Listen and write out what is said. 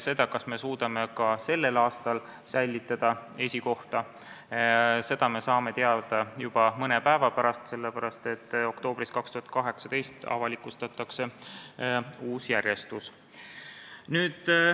Seda, kas me suudame ka sellel aastal esikohta säilitada, saame teada juba mõne päeva pärast, sest oktoobris 2018 avalikustatakse uus järjestus.